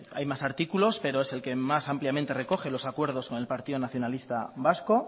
hay más artículos pero es el que más ampliamente recoge los acuerdos con el partido nacionalista vasco